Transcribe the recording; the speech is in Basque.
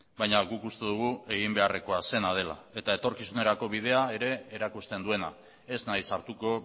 baina guk uste dugu egin beharrekoa zena dela eta etorkizunerako bidea ere erakusten duena ez naiz sartuko